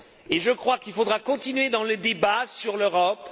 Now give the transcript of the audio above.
Et je crois qu'il faudra continuer dans le débat sur l'Europe.